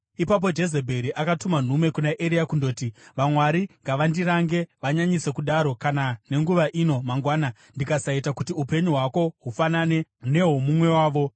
Ipapo Jezebheri akatuma nhume kuna Eria kundoti, “Vamwari ngavandirange, vanyanyise kudaro, kana nenguva ino mangwana, ndikasaita kuti upenyu hwako hufanane nehwomumwe wavo.”